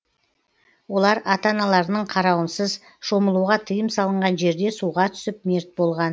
олар ата аналарының қарауынсыз шомылуға тыйым салынған жерде суға түсіп мерт болған